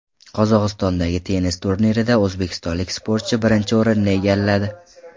Qozog‘istondagi tennis turnirida o‘zbekistonlik sportchi birinchi o‘rinni egalladi.